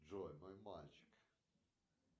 джой мой мальчик